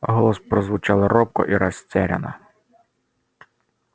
голос прозвучал робко и растерянно